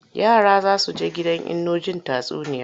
Yara za su he gidan Inno jin tatsuniya.